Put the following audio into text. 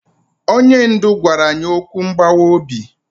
Onye ndu gwara anyị okwu mgbawa obi.